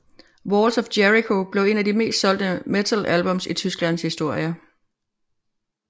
Walls of Jericho blev en af de mest solgte metal albums i Tysklands historie